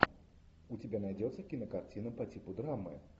у тебя найдется кинокартина по типу драмы